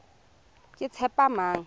ketshepamang